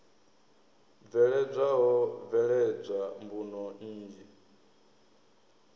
bveledzwa ho bveledzwa mbuno nnzhi